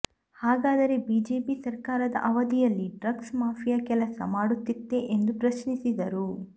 ಹಾಗಾದರೆ ಬಿಜೆಪಿ ಸರ್ಕಾರದ ಅವಧಿಯಲ್ಲಿ ಡ್ರಗ್ಸ್ ಮಾಫಿಯಾ ಕೆಲಸ ಮಾಡುತ್ತಿತ್ತೇ ಎಂದು ಪ್ರಶ್ನಿಸಿದರು